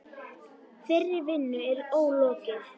Þeirri vinnu er ólokið.